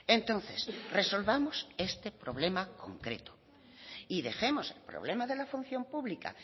entonces resolvamos este problema concreto y dejemos el problema de la función pública